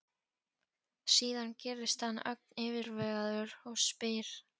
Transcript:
Síðan gerist hann ögn yfirvegaður og spyr